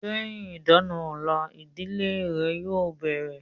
Lẹ́yìn ìdá-àna ọ̀la, ìdílé rẹ̀ yóò bẹ̀rẹ̀